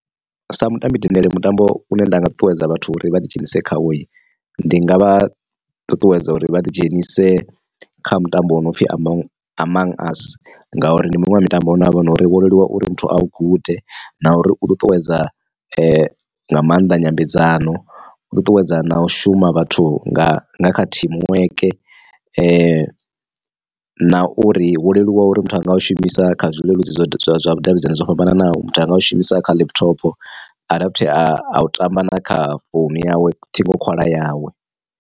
Sa mutambi dendele mutambo une nda nga ṱuṱuwedza vhathu uri vha ḓi dzhenise khawo ndi nga vha ṱuṱuwedza uri vha ḓi dzhenise kha mutambo wo no pfhi among us ngauri ndi muṅwe wa mutambo une havha nori wo leluwa uri muthu a lu gude na uri u ṱuṱuwedza nga maanḓa nyambedzano. U ṱuṱuwedza na u shuma vhathu nga kha teamwork na uri wo leluwa uri muthu a nga u shumisa kha zwileludzi zwa vhudavhidzani zwo fhambananaho muthu anga u shumisa kha laptop a dovha futhi a u tamba na kha founu yawe ṱhingokhwala yawe.